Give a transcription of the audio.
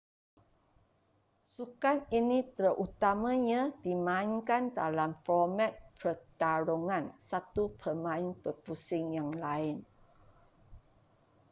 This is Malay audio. sukan ini terutamanya dimainkan dalam format pertarungan satu pemain berpusing yang lain